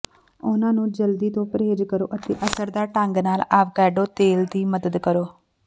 ਉਹਨਾਂ ਨੂੰ ਜਲਦੀ ਤੋਂ ਪ੍ਰਹੇਜ਼ ਕਰੋ ਅਤੇ ਅਸਰਦਾਰ ਢੰਗ ਨਾਲ ਆਵਾਕੈਡੋ ਤੇਲ ਦੀ ਮਦਦ ਕਰੋ